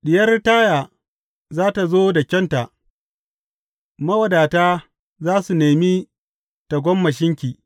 Diyar Taya za tă zo da kyauta, mawadata za su nemi tagomashinki.